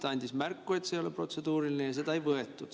Ta andis märku, et see ei ole protseduuriline, aga seda ei võetud.